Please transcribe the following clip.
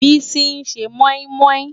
Bisi n sé mòimòi